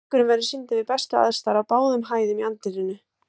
Leikurinn verður sýndur við bestu aðstæður á báðum hæðum í anddyrinu.